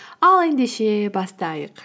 ал ендеше бастайық